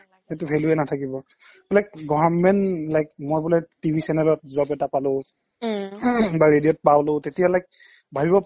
নালাগে সিটোৰ value য়ে নাথাকিব like government like মই বোলে TV channel ত job এটা পালো বা radioত পাওলো তেতিয়া like ভাবিব